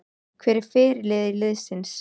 Hver er fyrirliði liðsins?